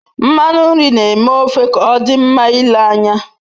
Nmanu nri n'eme ofe k'odi nma ile anya